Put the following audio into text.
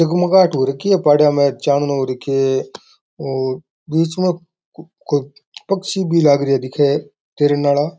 जग मगाहट हो रखी है पहाड़ा में चारणों हु राख्यो है बीच में कोई पक्षी भी लग रयो दिखे है तैरन आला।